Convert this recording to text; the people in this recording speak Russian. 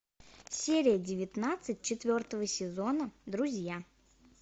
серия девятнадцать четвертого сезона друзья